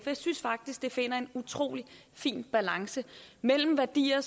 jeg synes faktisk det finder en utrolig fin balance mellem værdier